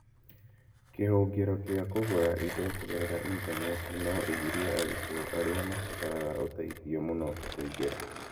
Kĩhũngĩro kĩa kũgũra indo kũgerera Intaneti no ĩgirie arutwo arĩa mabataraga ũteithio mũno kũingĩra.